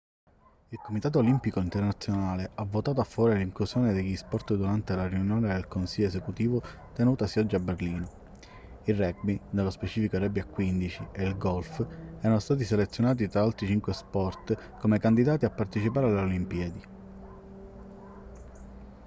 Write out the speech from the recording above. il comitato olimpico internazionale ha votato a favore dell'inclusione degli sport durante la riunione del consiglio esecutivo tenutasi oggi a berlino il rugby nello specifico il rugby a 15 e il golf erano stati selezionati tra altri cinque sport come candidati a partecipare alle olimpiadi